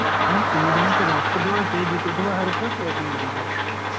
ନା ମ ସେମିତି ନାହିଁ ସିଏ ରଖୁଥିବ ସେଇ ଜିତୁଥିବ ହାରୁଥିବ ସେଇଆକୁ ।